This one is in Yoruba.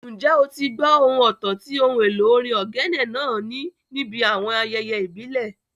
Ǹjẹ́ o ti gbó ohùn ọ̀tọ̀ tí ohun èlò orin ogene náà ní níbi àwọn ayẹyẹ ìbílẹ̀?